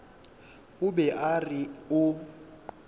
o be a re o